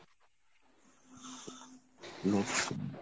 হুম